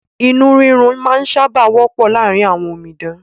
Inú rírun máa ń sábà wọ́pọ̀ láàrín àwọn omidan